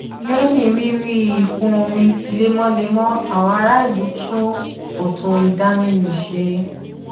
lẹyìn rírí ìkún omi lemọlemọ àwọn ará ìlú tún kòtò ìdaminù ṣe